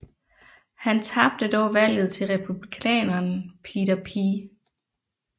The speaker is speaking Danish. Han tabte dog valget til Republikaneren Peter P